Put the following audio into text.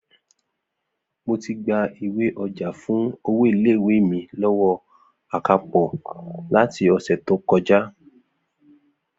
Mo ti gba ìwé-ọjà fún owó ilé ìwé mi lọ́wọ́ akápò láti ọ̀sẹ̀ tó kọjá